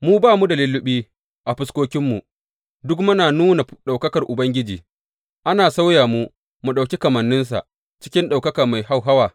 Mu da ba mu da lulluɓi a fuskokinmu duk muna nuna ɗaukakar Ubangiji, ana sauya mu mu ɗauki kamanninsa cikin ɗaukaka mai hauhawa.